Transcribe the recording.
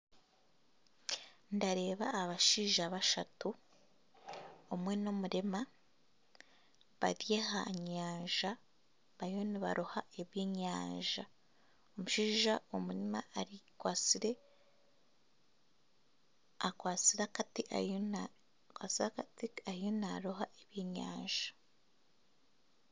Nindeeba abashaija bashatu omwe n'omurema, bari aha nyanja bariyo nibaroha ebyenyanja omushaija omurema akwatsire, akwatsire akati ariyo naaroha ebyenyanja